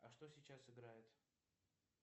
а что сейчас играет